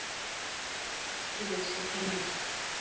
Bættu við sig einum.